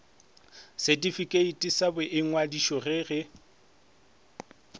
setifikeiti sa boingwadišo ge e